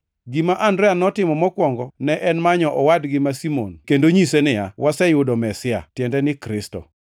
Gima Andrea notimo mokwongo ne en manyo owadgi ma Simon kendo nyise niya, “Waseyudo Mesia” (tiende ni Kristo).